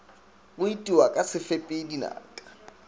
go itiwa ka sefepi dinaka